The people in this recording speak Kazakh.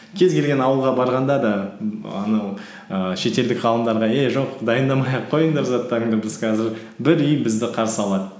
кез келген ауылға барғанда да анау ііі шетелдік ғалымдарға эй жоқ дайындамай ақ қойыңдар заттарыңды біз қазір бір үй бізді қарсы алады